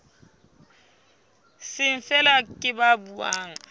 seng feela ke ba buang